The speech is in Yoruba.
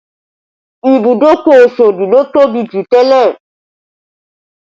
Ìbùdókọ̀ Osodi ló tóbi jù tẹ́lẹ̀